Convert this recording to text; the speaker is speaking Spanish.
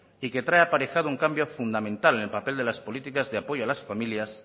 y que trae aparejado un cambio fundamental en el papel de las políticas de apoyo a las familias